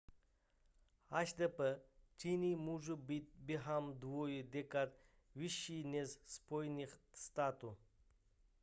hdp číny může být během dvou dekád vyšší než spojených států